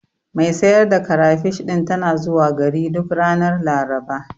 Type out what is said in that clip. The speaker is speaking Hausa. Mai sayar da karafish ɗin tana zuwa gari duk ranar Laraba.